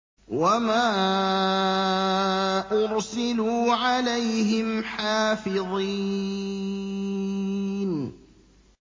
وَمَا أُرْسِلُوا عَلَيْهِمْ حَافِظِينَ